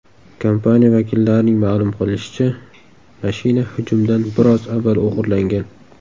Kompaniya vakillarining ma’lum qilishicha, mashina hujumdan biroz avval o‘g‘irlangan .